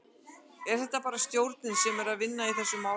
Er þetta bara stjórnin sem er að vinna í þessu máli?